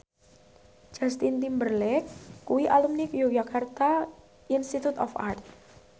Justin Timberlake kuwi alumni Yogyakarta Institute of Art